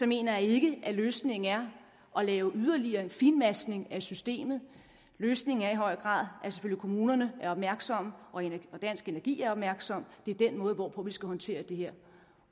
mener ikke at løsningen er at lave en yderligere finmaskning af systemet løsningen er i høj grad at kommunerne er opmærksomme og at dansk energi er opmærksom det er den måde hvorpå vi skal håndtere det her